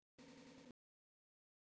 Ásgeir frændi, við söknum þín.